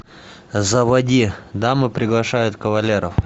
заводи дамы приглашают кавалеров